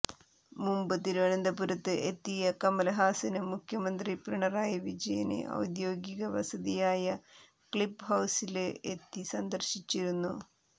മുമ്പ് തിരുവനന്തപുരത്ത് എത്തിയ കമല്ഹാസന് മുഖ്യമന്ത്രി പിണറായി വിജയനെ ഔദ്യോഗിക വസതിയായ ക്ലിഫ് ഹൌസില് എത്തി സന്ദര്ശിച്ചിരുന്നു